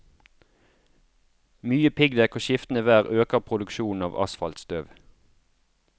Mye piggdekk og skiftende vær øker produksjonen av asfaltstøv.